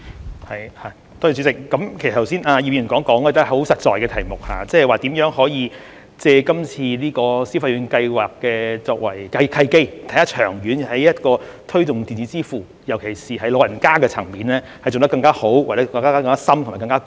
葉劉淑儀議員剛才所說的，也是相當實在的問題，即是如何可以借今次消費券計劃——作為契機，長遠推動電子支付，尤其是在長者的層面做得更好、更深和更廣。